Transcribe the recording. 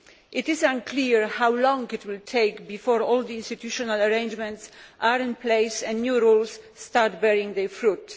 It is unclear how long it will take before all the institutional arrangements are in place and new rules start bearing their fruit.